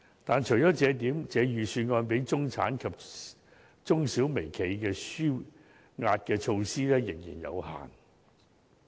但是，除了這一點，這份預算案對中產及中小微企的紓壓措施卻仍然有限。